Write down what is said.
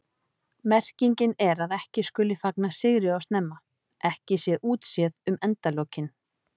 Merkingin er að ekki skuli fagna sigri of snemma, ekki sé útséð um endalokin.